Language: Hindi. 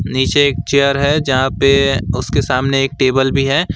नीचे एक चेयर है जहां पे उसके सामने एक टेबल भी है।